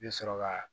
I bɛ sɔrɔ ka